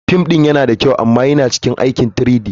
Fim ɗin yana da kyau amma yana cikin aikin 3-D.